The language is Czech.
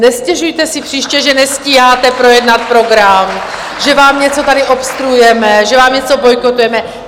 Nestěžujte si příště, že nestíháte projednat program, že vám něco tady obstruujeme, že vám něco bojkotujeme.